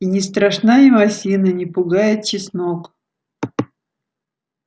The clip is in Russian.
и не страшна им осина не пугает чеснок